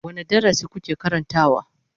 Wane darasi kuke karantawa?